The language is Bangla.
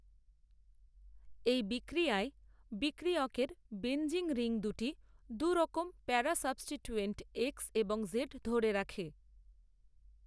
এই বিক্রিয়ায় বিক্রিয়কের বেঞ্জিন রিং দুটি দুইরকম প্যারা সাবস্টিটূএন্ট এক্স এবং জেড ধরে রাখে।